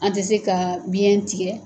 An ti se ka biɲɛ tigɛ